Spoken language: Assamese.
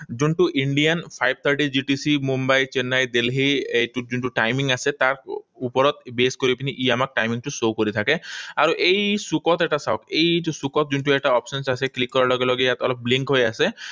যোনটো Indian five thirty Mumbai, Chennai, Delhi, এই যোনটো timing আছে, তাৰ ওপৰত base কৰি পিনি আমাক timing টো show কৰি থাকে। আৰু এই চুকত এটা চাওঁক। এইটো চুকত যোনটো এটা option আছে। Click কৰাৰ লগে লগে ইয়াত অলপ link হৈ আছে।